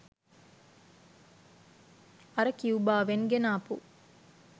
අර කියුබාවෙන් ගෙනාපු